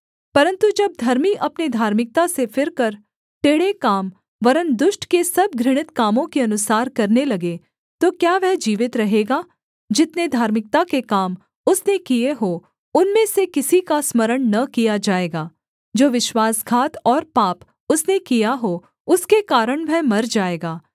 परन्तु जब धर्मी अपने धार्मिकता से फिरकर टेढ़े काम वरन् दुष्ट के सब घृणित कामों के अनुसार करने लगे तो क्या वह जीवित रहेगा जितने धार्मिकता के काम उसने किए हों उनमें से किसी का स्मरण न किया जाएगा जो विश्वासघात और पाप उसने किया हो उसके कारण वह मर जाएगा